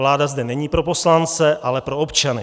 Vláda zde není pro poslance, ale pro občany.